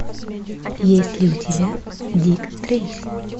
есть ли у тебя дик трейси